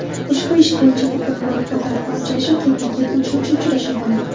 Ushbu ish bo‘yicha bugun bo‘lib o‘tadigan uchrashuv ketma-ket uchinchi uchrashuv bo‘ladi.